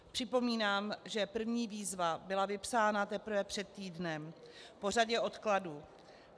Připomínám, že první výzva byla vypsána teprve před týdnem, po řadě odkladů.